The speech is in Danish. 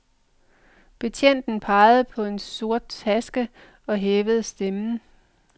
Betjenten peger på en sort taske og hæver stemmen.